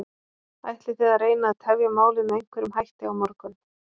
Ætlið þið að reyna að tefja málið með einhverjum hætti á morgun?